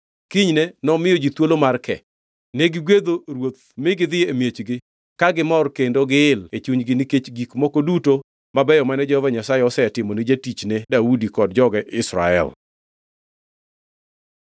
Kinyne nomiyo ji thuolo mar ke. Negigwedho ruoth mi gidhi e miechgi, ka gimor kendo giil e chunygi nikech gik moko duto mabeyo mane Jehova Nyasaye osetimo ni jatichne Daudi kod joge Israel.